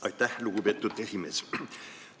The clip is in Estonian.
Aitäh, lugupeetud esimees!